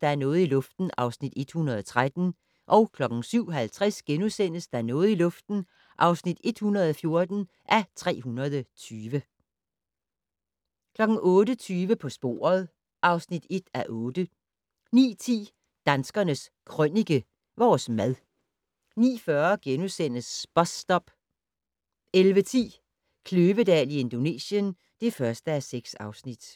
Der er noget i luften (113:320)* 07:50: Der er noget i luften (114:320)* 08:20: På sporet (1:8) 09:10: Danskernes Krønike - Vores mad 09:40: Bus Stop * 11:10: Kløvedal i Indonesien (1:6)